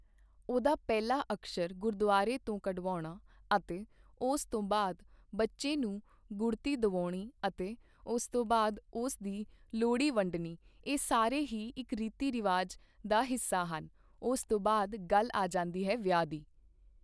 ਉਹਦਾ ਪਹਿਲਾ ਅਕਸ਼ਰ ਗੁਰਦੁਆਰੇ ਤੋਂ ਕਢਵਾਉਣਾ ਅਤੇ ਉਸ ਤੋਂ ਬਾਅਦ ਬੱਚੇ ਨੂੰ ਗੁੜਤੀ ਦਵਾਉਣੀ ਅਤੇ ਉਸ ਤੋਂ ਬਾਅਦ ਉਸ ਦੀ ਲੋਹੜੀ ਵੰਡਣੀ ਇਹ ਸਾਰੇ ਹੀ ਇੱਕ ਰੀਤੀ ਰਿਵਾਜ ਦਾ ਹਿੱਸਾ ਹਨ ਉਸ ਤੋਂ ਬਾਅਦ ਗੱਲ ਆ ਜਾਂਦੀ ਹੈ ਵਿਆਹ ਦੀ।